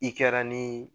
I kɛra ni